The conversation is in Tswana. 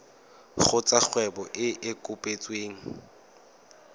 kgotsa kgwebo e e kopetsweng